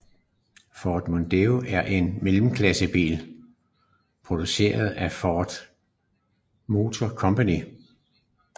Ford Mondeo er en stor mellemklassebil produceret af Ford Motor Company